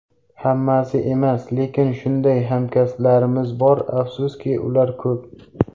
Hammasi emas, lekin shunday hamkasblarimiz bor, afsuski, ular ko‘p.